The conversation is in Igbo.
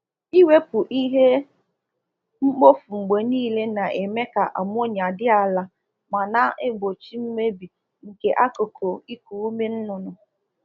Ụlọ ọzụzụ ọkụkọ ruru unyi na akpọta ijiji, oke n'kwa ọrịa dị iche iche nke na-ewetu uru ekwesiri inweta na ọzụzụ inweta na ọzụzụ ọkụkọ